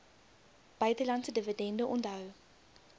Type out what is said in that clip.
buitelandse dividende onthou